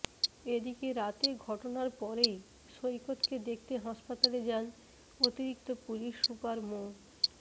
এদিকে রাতে ঘটনার পরেই সৈকতকে দেখতে হাসপাতালে যান অতিরিক্ত পুলিশ সুপার মো